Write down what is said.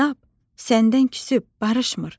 Kitab səndən küsüb, barışmır.